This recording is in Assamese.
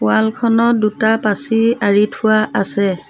ৱাল খনত দুটা পাঁচি আঁৰি থোৱা আছে।